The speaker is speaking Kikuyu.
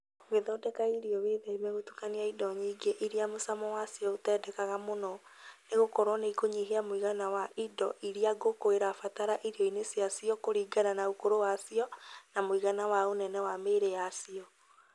Ūgĩthondeka irio wĩtheme gutũkania indo nyingĩ iria mũcamo wacio ũtendekaga mũno , nĩgũkorwo nĩikũnyihia mũigana wa indo iria ngũkũ irabatara irio-inĩ ciacio kũringana na ũkũrũ wacio na mũigana wa ũnene wa mĩĩrĩ yacio.